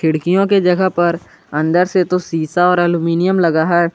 खिड़कियों के जगह पर अंदर से तो शीशा और एल्यूमीनियम लगा है।